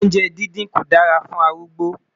oúnjẹ dindin kò dára fún arúgbó